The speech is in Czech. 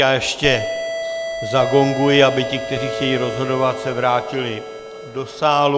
Já ještě zagonguji, aby ti, kteří chtějí rozhodovat, se vrátili do sálu.